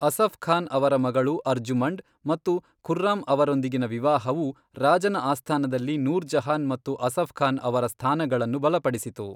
ಅಸಫ್ ಖಾನ್ ಅವರ ಮಗಳು ಅರ್ಜುಮಂಡ್ ಮತ್ತು ಖುರ್ರಾಮ್ ಅವರೊಂದಿಗಿನ ವಿವಾಹವು ರಾಜನ ಆಸ್ಥಾನದಲ್ಲಿ ನೂರ್ ಜಹಾನ್ ಮತ್ತು ಅಸಫ್ ಖಾನ್ ಅವರ ಸ್ಥಾನಗಳನ್ನು ಬಲಪಡಿಸಿತು.